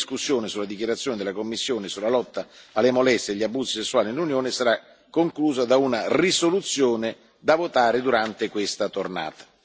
Quindi la discussione sulla dichiarazione della Commissione sulla lotta alle molestie e agli abusi sessuali nell'Unione sarà conclusa da una risoluzione, da votare durante questa tornata.